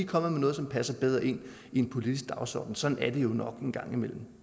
kommet med noget som passer bedre ind i en politisk dagsorden sådan er det jo nok en gang imellem